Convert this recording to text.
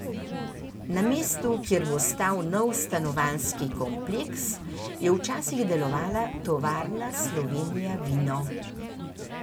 Na mestu, kjer bo stal nov stanovanjski kompleks, je včasih delovala tovarna Slovenija vino.